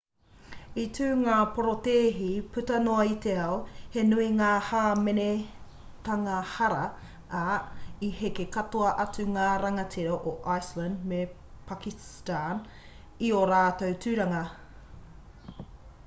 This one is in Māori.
i tū ngā porotēhi puta noa i te ao he nui ngā hāmenetanga hara ā i heke katoa atu ngā rangatira o iceland me pakiston i ō rātou tūranga